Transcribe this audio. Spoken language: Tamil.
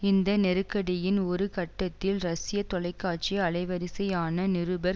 இந்த நெருக்கடியின் ஒரு கட்டத்தில் ரஷ்ய தொலைக்காட்சி அலைவரிசையான நிருபர்